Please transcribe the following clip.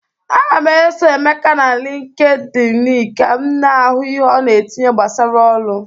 Aga m eso Emeka na LịnkedỊnị ka m na-ahụ ihe ọ na-etinye gbasara ọrụ.